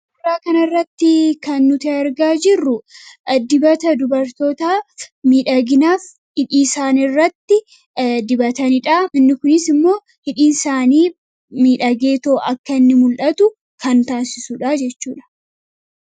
Suuraa kanarratti kan nuti argaa jirru dibata dubartootaa miidhaginaaf hidhii isaanii irratti dibatanidha. Inni kunis immoo hidhiinsaanii miidhageetoo akka inni mul'atu kan taasisudha jechuudha.